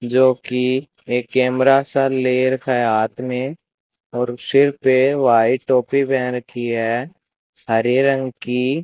जो की एक कैमरा सा ले रखा है हाथ में और सिर पे वाइट टोपी पहन रखी है हरे रंग की--